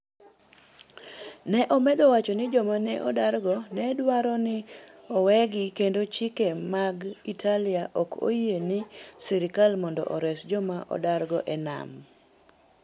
Ne omedo wacho ni joma ne odargo ne dwaro ni owegi kendo chike mag Italia ok oyie ne sirkal mondo ores joma odargo e nam.